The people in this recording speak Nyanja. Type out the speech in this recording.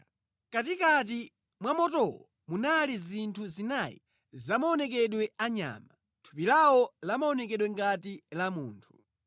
Mʼkatikati mwa motowo munali zinthu zinayi zamaonekedwe a nyama. Thupi lawo limaoneka ngati la munthu